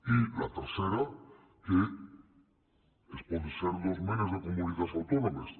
i la tercera que es pot ser dos menes de comunitats autònomes